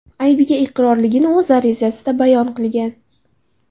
aybiga iqrorligini o‘z arizasida bayon qilgan.